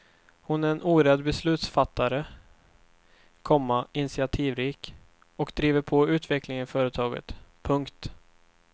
Hon är en orädd beslutsfattare, komma initiativrik och driver på utvecklingen i företaget. punkt